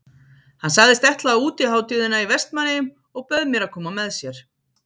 Hann sagðist ætla á útihátíðina í Vestmannaeyjum og bauð mér að koma með sér.